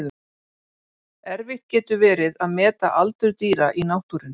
Erfitt getur verið að meta aldur dýra í náttúrunni.